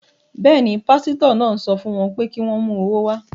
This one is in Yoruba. Bẹ́ẹ̀ ni, pásítọ̀ náà ń sọ fún wọn pé kí wọ́n mú owó wá.